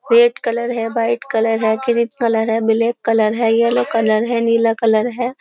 Red colour है white colour है green colour है ब्लैक कलर है येलो कलर है नीला कलर है।